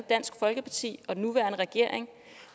dansk folkeparti og den nuværende regering